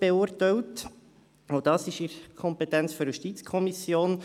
Auch dies liegt in der Kompetenz der JuKo.